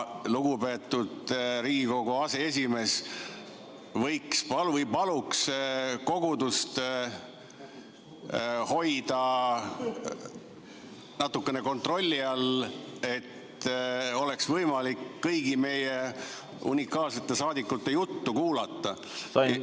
Lugupeetud Riigikogu aseesimees, palun hoida kogudust natukene kontrolli all, et oleks võimalik kõigi meie unikaalsete saadikute juttu kuulata!